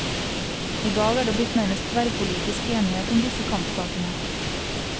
I dag er det blitt nærmest tverrpolitisk enighet om disse kampsakene.